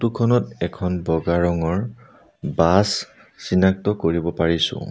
খনত এখন বগা ৰঙৰ বাছ চিনাক্ত কৰিব পাৰিছোঁ।